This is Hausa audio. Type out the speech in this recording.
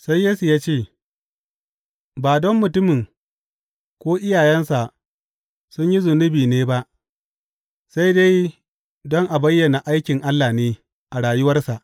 Sai Yesu ya ce, Ba don mutumin ko iyayensa sun yi zunubi ne ba, sai dai don a bayyana aikin Allah ne a rayuwarsa.